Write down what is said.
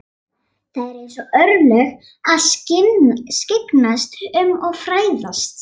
Það eru hans örlög að skyggnast um og fræðast.